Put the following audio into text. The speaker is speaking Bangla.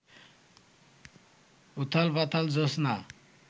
উথালপাথাল জোছনা